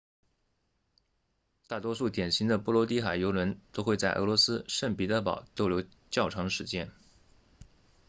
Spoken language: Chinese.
大多数典型的波罗的海游轮都会在俄罗斯圣彼得堡逗留较长时间